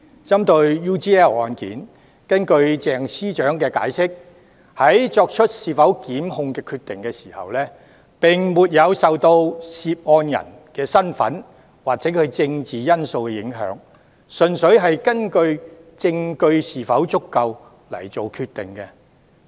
針對 UGL 案，根據鄭司長解釋，在作出是否檢控的決定時，並沒有受到涉案人身份或政治因素的影響，純粹是根據證據是否足夠而作決定。